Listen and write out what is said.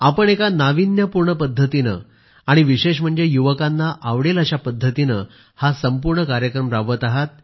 आपण एका नावीन्यपूर्ण पद्धतीने आणि विशेष म्हणजे युवकांना आवडेल अशा पद्धतीने हा संपूर्ण कार्यक्रम राबवत आहात